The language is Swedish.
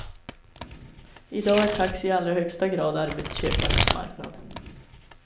I dag är taxi i allra högsta grad arbetsköparens marknad.